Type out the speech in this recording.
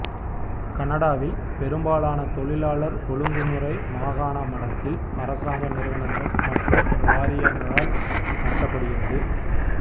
கனடாவில் பெரும்பாலான தொழிலாளர் ஒழுங்குமுறை மாகாண மட்டத்தில் அரசாங்க நிறுவனங்கள் மற்றும் வாரியங்களால் நடத்தப்படுகிறது